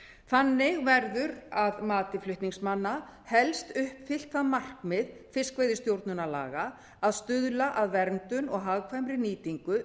þannig verður að mati flutningsmanna helst uppfyllt það markmið fiskveiðistjórnarlaga að stuðla að verndun og hagkvæmri nýtingu